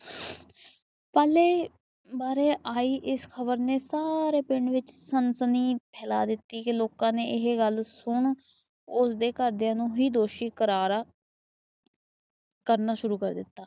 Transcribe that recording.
ਪਾਲੇ ਬਾਰੇ ਆਇ ਇਸ ਖ਼ਬਰ ਨੇ ਸਾਰੇ ਪਿੰਡ ਵਿੱਚ ਸਨਸਨੀ ਫੈਲਾਂ ਦਿੱਤੀ। ਤੇ ਲੋਕਾਂ ਨੇ ਇਹ ਗੱਲ ਸੁਣ ਉਸਦੇ ਘਰ ਦੀਆ ਨੂੰ ਹੂ ਦੋਸ਼ੀ ਕਰਾਰ ਕਰਨਾ ਸ਼ੁਰੂ ਕਰ ਦਿੱਤਾ।